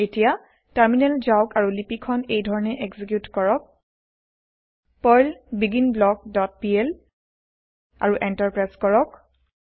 এতিয়া টাৰমিনেল যাওক আৰু লিপি খন এইধৰণে এক্সিকিউত কৰক পাৰ্ল বিগিনব্লক ডট পিএল আৰু এন্টাৰ প্ৰেছ কৰক